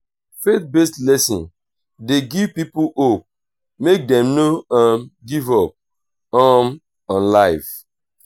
faith based lesson de give pipo hope make dem no um give up um on life